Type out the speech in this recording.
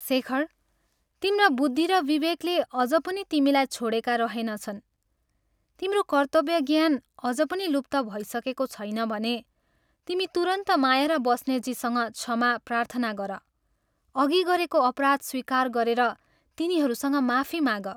शेखर, तिम्रा बुद्धि र विवेकले अझ पनि तिमीलाई छोडेका रहेनछन्, तिम्रो कर्तव्यज्ञान अझ पनि लुप्त भइसकेको छैन भने तिमी तुरन्त माया र बस्नेतजीसँग क्षमा प्रार्थना गर अघि गरेको अपराध स्वीकार गरेर तिनीहरूसँग माफी माग।